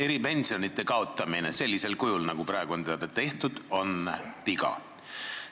Eripensionite kaotamine sellisel kujul, nagu praegu on tehtud, on viga.